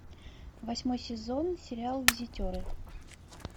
восьмой сезон сериал визитеры